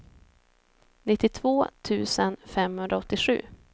nittiotvå tusen femhundraåttiosju